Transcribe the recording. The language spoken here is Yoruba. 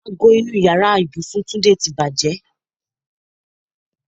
Ago inú ìyára ibùsùn Túndé ti bàjẹ́.